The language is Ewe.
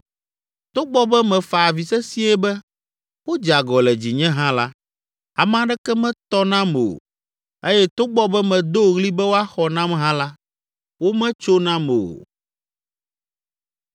“Togbɔ be mefa avi sesĩe be, ‘Wodze agɔ le dzinye!’ hã la, ame aɖeke metɔ nam o eye togbɔ be medo ɣli be woaxɔ nam hã la, wometso nam o.